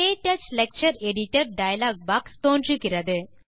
க்டச் lecture editor dialog box தோன்றுகிறது